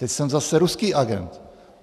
Teď jsem zase ruský agent.